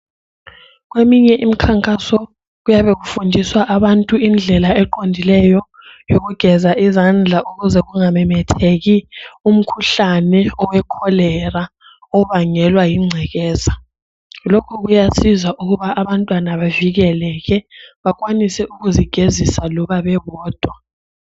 Kweminye imikhankaso kuyabe kufundiswa abantu indlela eqondileyo yokugeza izandla ukuze kungamemetheki umkhuhlane owecholera obangelwa yingcekeza, lokhu kuyasiza ukuthi abantwana bavikeleke benelise ukuzigezisa loba bebodwa.